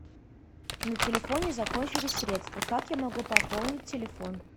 на телефоне закончились средства как я могу пополнить телефон